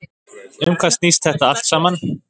Um hvað snýst þetta allt saman?